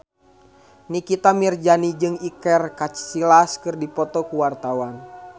Nikita Mirzani jeung Iker Casillas keur dipoto ku wartawan